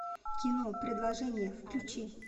кино предложение включи